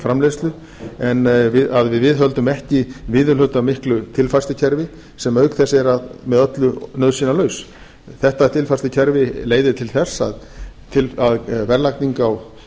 framleiðslu en að viðhöldum ekki viðurhlutamiklu tilfærslukerfi sem auk þess er með öllu nauðsynjalaus þetta tilfærslukerfi leiðir til þess að verðlagning á